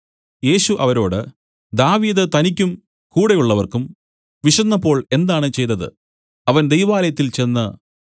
യേശു അവരോട് ദാവീദ് തനിക്കും കൂടെയുള്ളവർക്കും വിശന്നപ്പോൾ എന്താണ് ചെയ്തത് അവൻ ദൈവാലയത്തിൽ ചെന്ന്